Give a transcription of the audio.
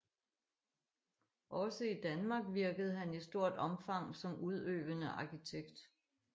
Også i Danmark virkede han i stort omfang som udøvende arkitekt